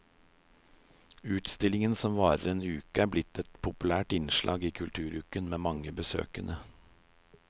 Utstillingen som varer en uke er blitt et populært innslag i kulturuken med mange besøkende.